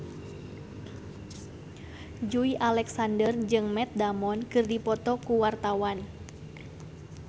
Joey Alexander jeung Matt Damon keur dipoto ku wartawan